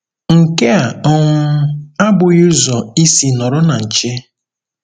Nke a um abụghị ụzọ isi nọrọ na nche.